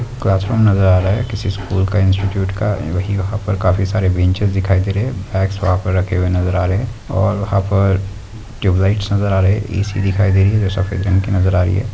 Class room नजर आ रहा है किसी स्कूल का इंस्टिट्यूट का वही वहा पर काफी सारे बेंचेस दिखाई दे रहे है बैग वहा पर रखे हुए नजर आ रहे है और वहा पर ट्यूबलाइटस नजर आ रही है एसी दिखाई दे रही है जो सफेद रंग की नजर आ रही है।